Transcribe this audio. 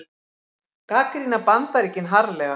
Gagnrýna Bandaríkin harðlega